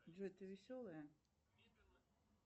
джой ты веселая